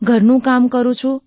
ઘરનું કામ કરું છું